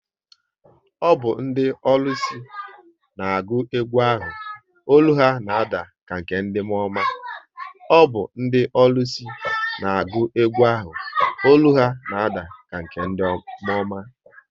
Ọ bụ ndị ọlụsị n'agu egwu ahụ, ọlụ ha na ada ka nke ndị mụọọma